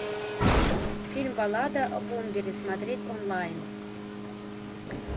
фильм баллада о бомбере смотреть онлайн